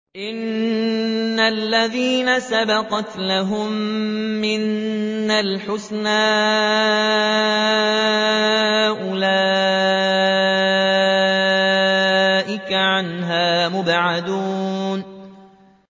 إِنَّ الَّذِينَ سَبَقَتْ لَهُم مِّنَّا الْحُسْنَىٰ أُولَٰئِكَ عَنْهَا مُبْعَدُونَ